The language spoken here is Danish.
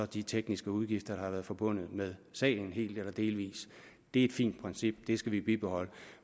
de tekniske udgifter der har været forbundet med sagen helt eller delvist det er et fint princip det skal vi bibeholde